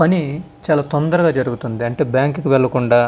పని చాల తొందరగా జేరుగుతది అంటే బ్యాంకు కి వెళ్లకుండా.